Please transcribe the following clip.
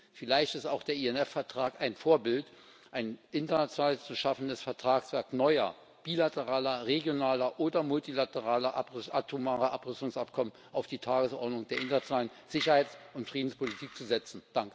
Und vielleicht ist auch der INF Vertrag ein Vorbild, ein international zu schaffendes Vertragswerk neuer bilateraler, regionaler oder multilateraler atomarer Abrüstungsabkommen auf die Tagesordnung der internationalen Sicherheits und Friedenspolitik zu setzen.